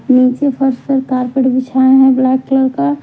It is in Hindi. नीचे फर्श पर कार्पेट बिछाया है ब्लैक कलर का--